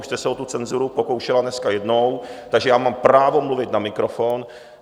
Už jste se o tu cenzuru pokoušela dneska jednou, takže já mám právo mluvit na mikrofon.